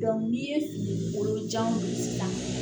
n'i ye dugukolo jan